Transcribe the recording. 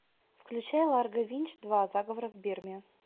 включай ларго винч два заговор в бирме